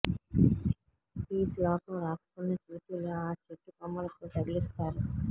ఈ శ్లోకం రాసుకున్న చీటీలు ఆ చెట్టు కొమ్మలకు తగిలిస్తారు